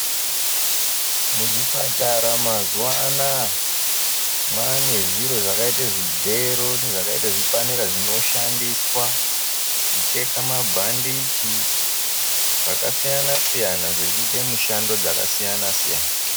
Muzvipatara mazuwaanaa mwane zviro zvakaite zvigero nezvakaite zvipanera zvinoshandiswa kucheka mabhadhichi zvakasiyana siyana zvichiita mishando dzakasiyana siyana.